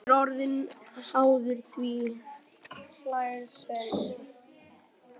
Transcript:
Hann er orðinn háður því, hlær Sæmi.